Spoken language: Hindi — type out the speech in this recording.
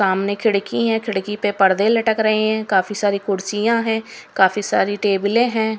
सामने खिड़की है खिड़की पे पर्दे लटक रहे हैं काफी सारी कुर्सियां हैं काफी सारी टेबलें हैं।